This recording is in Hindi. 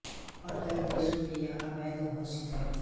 और कई देशों में यह अवैध घोषित है